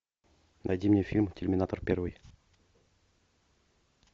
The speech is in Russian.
найди мне фильм терминатор первый